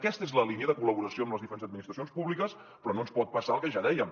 aquesta és la línia de col·laboració amb les diferents administracions públiques però no ens pot passar el que ja dèiem